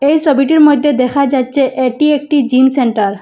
এই ছবিটির মধ্যে দেখা যাচ্ছে এটি একটি জিম সেন্টার ।